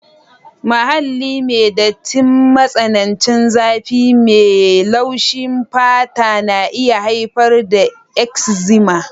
Muhalli mai datti, matsanancin zafi mai laushi fata na iya haifar da eczema